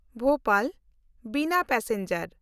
ᱵᱷᱳᱯᱟᱞ–ᱵᱤᱱᱟ passenger